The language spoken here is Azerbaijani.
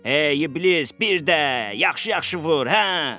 Ey iblis, bir də, yaxşı-yaxşı vur, hə.